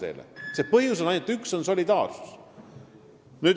On ainult üks põhjus ja see on solidaarsus.